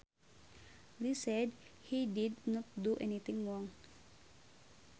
Lee said he did not do anything wrong